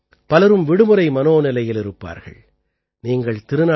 இந்த சமயம் பலரும் விடுமுறை மனோநிலையில் இருப்பார்கள்